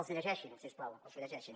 els llegeixin si us plau els llegeixin